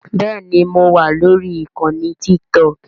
Bẹ́ẹ̀ni mo wà lórí ìkànnì Tiktok